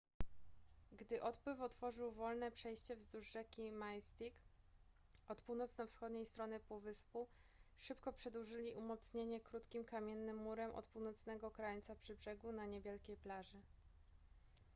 gdy odpływ otworzył wolne przejście wzdłuż rzeki mystic od północno-wschodniej strony półwyspu szybko przedłużyli umocnienie krótkim kamiennym murem od północnego krańca przy brzegu na niewielkiej plaży